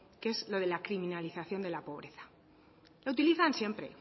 que es lo de la criminalización de la pobreza lo utilizan siempre